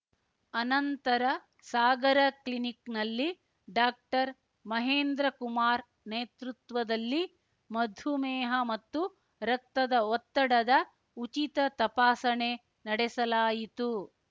ಅನಂತರ ಸಾಗರ ಕ್ಲಿನಿಕ್‌ನಲ್ಲಿ ಡಾಕ್ಟರ್ಮಹೇಂದ್ರಕುಮಾರ್‌ ನೇತೃತ್ವದಲ್ಲಿ ಮಧುಮೇಹ ಮತ್ತು ರಕ್ತದ ಒತ್ತಡದ ಉಚಿತ ತಪಾಸಣೆ ನಡೆಸಲಾಯಿತು